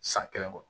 San kelen kɔ